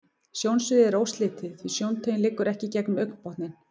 Sjónsviðið er óslitið, því sjóntaugin liggur ekki gegnum augnbotninn.